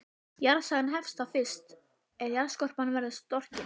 Jarðsagan hefst þá fyrst er jarðskorpan varð storkin.